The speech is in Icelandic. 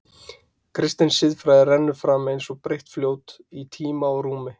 Kristin siðfræði rennur fram eins og breitt fljót í tíma og rúmi.